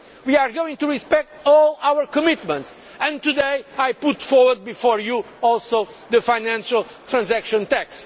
it. We are going to respect all our commitments and today I also put forward before you the financial transaction